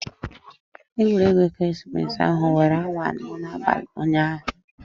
Egwuregwu ekeresimesi ahụ were awa anọ n'abalị ụnyaahụ.